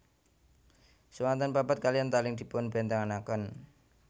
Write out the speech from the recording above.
Swanten pepet kaliyan taling dipunbèntenaken